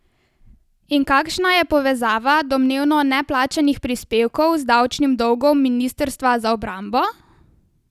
In kakšna je povezava domnevno neplačanih prispevkov z davčnim dolgom ministrstva za obrambo?